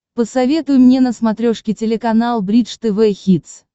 посоветуй мне на смотрешке телеканал бридж тв хитс